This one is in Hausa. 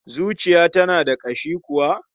Zuciya tana da ƙashi kuwa?